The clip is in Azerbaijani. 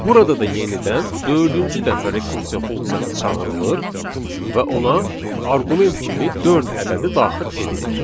Burada da yenidən dördüncü dəfə rekursiya funksiyası çağırılır və ona arqument kimi dörd ədədi daxil edilir.